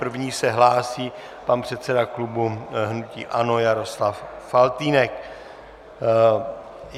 První se hlásí pan předseda klubu hnutí ANO Jaroslav Faltýnek.